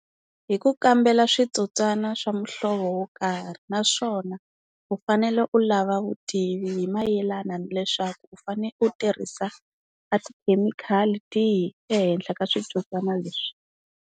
Hi ku kambela switsotswana swa muhlovo wo karhi, naswona u fanele u lava vutivi hi mayelana ni leswaku u fane u tirhisa a tikhemikhali tihi ehenhla ka switsotswana leswi.